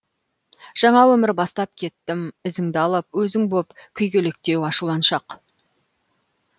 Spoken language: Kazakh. жаңа өмір бастап кеттім ізіңді алып өзің боп күйгелектеу ашуланшақ